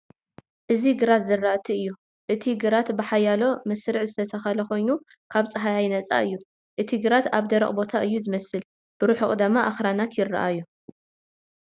እቲ ግራት ዝራእቲ ዘርኢ እዩ። እቲ ግራት ብሓያሎ መስርዕ ዝተተኽለ ኮይኑ፡ ካብ ጻህያይ ነጻ እዩ። እቲ ግራት ኣብ ደረቕ ቦታ እዩ ዝመስል፣ ብርሑቕ ድማ ኣኽራናት ይረኣዩ።